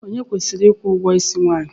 Onye kwesịrị ịkwụ ụgwọisi nwaanyị?